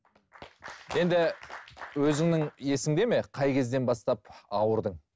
енді өзіңнің есіңде ме қай кезден бастап ауырдың